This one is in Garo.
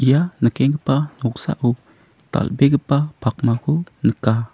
ia nikenggipa noksao dal·begipa pakmako nika.